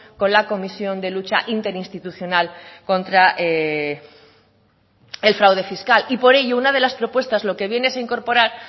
con la comisión de lucha interinstitucional contra el fraude fiscal y por ello una de las propuestas lo que viene a incorporar